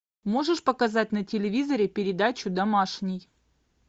можешь показать на телевизоре передачу домашний